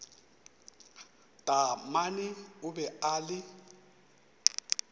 taamane o be a le